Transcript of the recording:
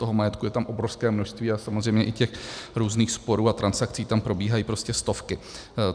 Toho majetku je tam obrovské množství a samozřejmě i těch různých sporů a transakcí tam probíhají prostě stovky.